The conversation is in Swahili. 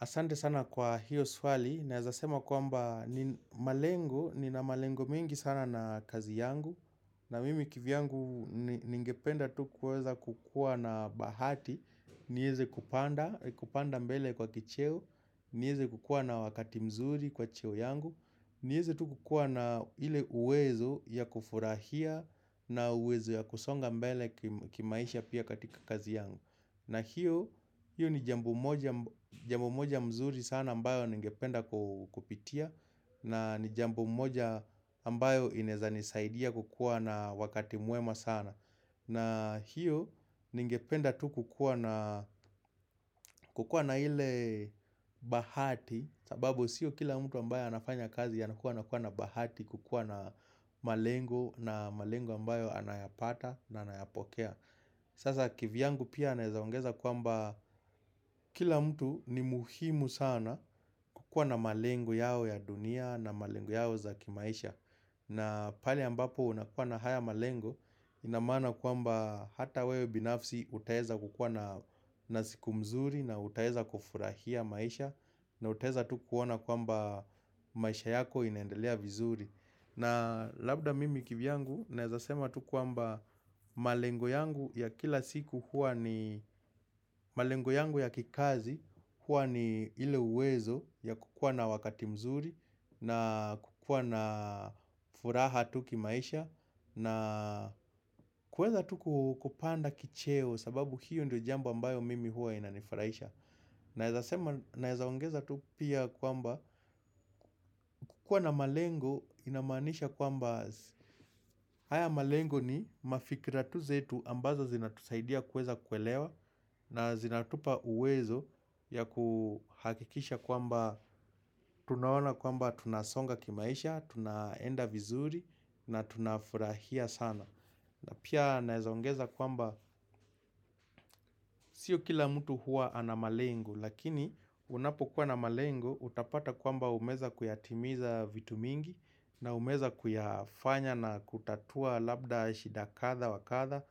Asante sana kwa hiyo swali, na ezasema kwamba ni malengo, ni na malengo mingi sana na kazi yangu na mimi kivyangu ningependa tu kuweza kukua na bahati, ni eze kupanda, kupanda mbele kwa kicheo ni weze kukuwa na wakati mzuri kwa cheo yangu, ni weze tu kukua na ile uwezo ya kufurahia na uwezo ya kusonga mbele kimaisha pia katika kazi yangu na hiyo ni jambo moja mzuri sana ambayo ningependa kupitia na ni jambo moja ambayo inaeza nisaidia kukuwa na wakati mwema sana na hiyo ningependa tu kukuwa na ile bahati sababu siyo kila mtu ambaye anafanya kazi ya nakua na kua na bahati kukua na malengo na malengo ambayo anayapata na anayapokea Sasa kivyangu pia naeza ongeza kwamba kila mtu ni muhimu sana kukuwa na malengo yao ya dunia na malengo yao za kimaisha na pale ambapo unakuwa na haya malengo inamaana kwamba hata wewe binafsi utaeza kukuwa na na siku mzuri na utaeza kufurahia maisha na utaeza tu kuona kwamba maisha yako inendelea vizuri na labda mimi kivyangu naeza sema tu kwamba malengo yangu ya kila siku huwa ni malengo yangu ya kikazi huwa ni ile uwezo ya kukuwa na wakati mzuri na kukuwa na furaha tu kimaisha na kueza tu kupanda kicheo sababu hiyo ndo jambo ambayo mimi huwa inanifurahisha. Naeza ongeza tu pia kwamba kuwa na malengo inamanisha kwamba haya malengo ni mafikira tu zetu ambazo zinatusaidia kueza kuelewa na zinatupa uwezo ya kuhakikisha kwamba tunaona kwamba tunasonga kimaisha, tunaenda vizuri na tunafurahia sana. Na pia naeza ongeza kwamba sio kila mtu huwa ana malengo lakini unapo kuwa na malengo utapata kwamba umeweza kuyatimiza vitu mingi na umeweza kuyafanya na kutatua labda shida katha wakatha